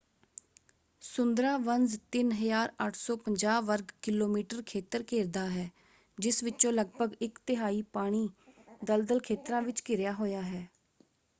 ਸੁੰਦਰਾਬਨਸ 3,850 ਵਰਗ ਕਿ.ਮੀ. ਖੇਤਰ ਘੇਰਦਾ ਹੈ ਜਿਸ ਵਿਚੋਂ ਲਗਪਗ ਇਕ-ਤਿਹਾਈ ਪਾਣੀ/ਦਲਦਲ ਖੇਤਰਾਂ ਵਿੱਚ ਘਿਰਿਆ ਹੋਇਆ ਹੈ।